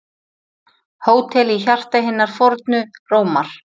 Hótel í hjarta hinnar fornu Rómar